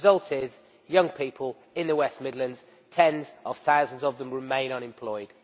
The result is that young people in the West Midlands, tens of thousands of them, remain unemployed.